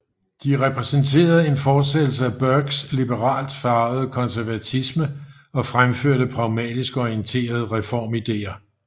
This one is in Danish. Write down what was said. De repræsenterede en fortsættelse af Burkes liberalt farvede konservatisme og fremførte pragmatisk orienterede reformideer